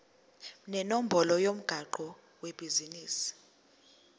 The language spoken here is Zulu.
nenombolo yomgwaqo webhizinisi